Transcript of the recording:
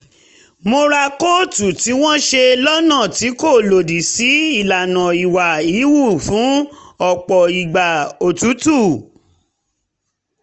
mo ra kóòtù tí wọ́n ṣe lọ́nà tí kò lòdì sí ìlànà ìwà híhù fún ọ̀pọ̀ ìgbà òtútù